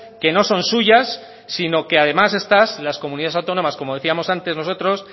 que no son suyas sino que además estas las comunidades autónomas como decíamos antes nosotros